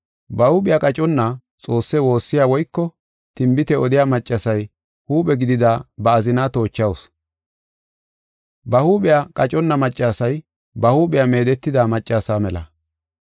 Ba huuphiya qaconna Xoosse woossiya woyko tinbite odiya maccasiya huuphe gidida ba azina toochawusu. Ba huuphiya qaconna maccasiya ba huuphiya meedetida maccasa mela.